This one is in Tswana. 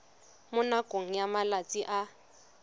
mo nakong ya malatsi a